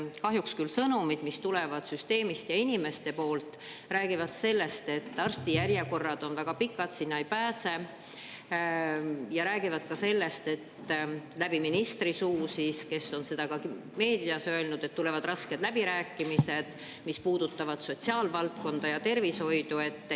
Kahjuks küll sõnumid, mis tulevad süsteemist ja inimeste poolt, räägivad sellest, et arstijärjekorrad on väga pikad, sinna ei pääse, ja räägivad ka sellest, läbi ministri suu, kes on seda ka meedias öelnud, et tulevad rasked läbirääkimised, mis puudutavad sotsiaalvaldkonda ja tervishoidu.